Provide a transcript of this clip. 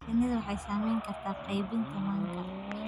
Shinnidu waxay saamayn kartaa qaybinta manka.